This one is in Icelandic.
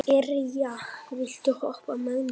Irja, viltu hoppa með mér?